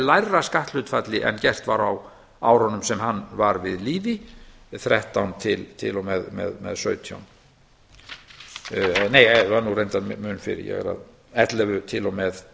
lægra skatthlutfalli en gert var á árunum sem hann var við líði þrettán og til og með sautján nei það var nú reyndar mun fyrr ellefu til og með